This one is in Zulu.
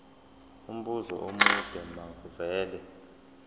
umbuzo omude makuvele